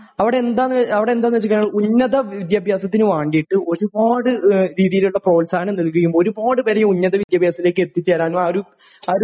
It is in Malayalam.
അവിടെ എന്താ നു വച്ചുകഴിഞ്ഞാൽ ഉന്നതവിദ്യാഭ്യാസത്തിന് വേണ്ടീട്ട് ഒരുപാട് രീതിയിലുള്ള പ്രോത്സാഹനം നൽകുകയും ഒരുപാട് പേര് ഈ ഉന്നതവിദ്യാഭ്യാസത്തിലേക്ക് എത്തിച്ചേരാനും ആ ഒരു, ആ ഒരു...